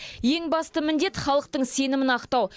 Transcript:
ең басты міндет халықтың сенімін ақтау